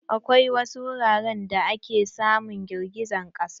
Akwai wasu wuraren da ake samun girgijen ƙasa.